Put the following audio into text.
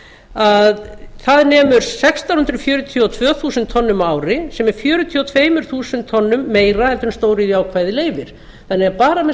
að það nemur sextán hundruð fjörutíu og tvö þúsund tonnum á ári sem er fjörutíu og tvö þúsund tonnum meira heldur en stóriðjuákvæðið leyfir þannig að bara með